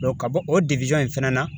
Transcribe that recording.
ka bɔ o in fɛnɛ na